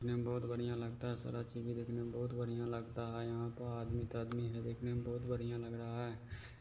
--चश्मे में बहुत बढ़िया लगता है शर्त देखने में बहुत बढ़िया लगता है यहां पर आदमी तो आदमी है देखने में बहुत बढ़िया लग रहा है।